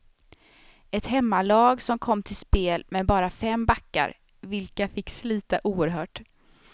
Ett hemmalag som kom till spel med bara fem backar, vilka fick slita oerhört.